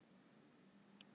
með bók í hönd